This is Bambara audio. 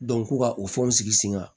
ko ka u fɛnw sigi sen kan